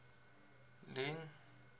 leone